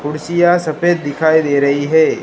कुर्सियां सफेद दिखाई दे रही है।